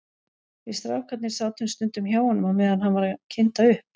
Við strákarnir sátum stundum hjá honum á meðan hann var að kynda upp.